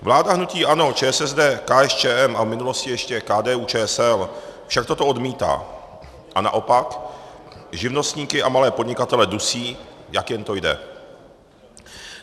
Vláda hnutí ANO, ČSSD, KSČM a v minulosti ještě KDU-ČSL však toto odmítá a naopak živnostníky a malé podnikatele dusí, jak jen to jde.